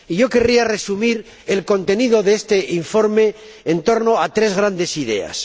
Y querría resumir el contenido de este informe en torno a tres grandes ideas.